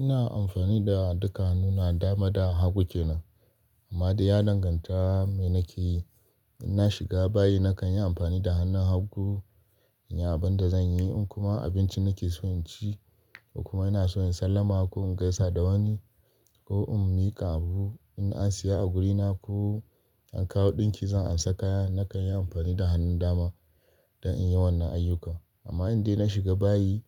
Ina amfani da duka hannuna, dama da hagu kenan amma da ya danganta me nake yi. In na shiga bayi nakan yi amfani da hannun hagu in yi abin da zan yi in kuma abincin nake so in ci kuma ina so in sallama ko in gaisa da wani ko in mika abu, in na siya a wurina ko in kawo dinki zan amsa kaya nakan yi amfani da hannun dama don in yi wannan ayyuka. Amma indai na shiga bayi